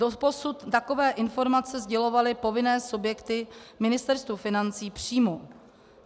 Doposud takové informace sdělovaly povinné subjekty Ministerstvu financí přímo.